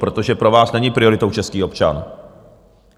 Protože pro vás není prioritou český občan.